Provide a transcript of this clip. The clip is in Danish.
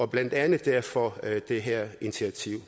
blandt andet derfor at det her initiativ